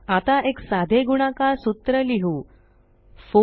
आता एक साधे गुणाकार सूत्र लिहु 4एक्स3 12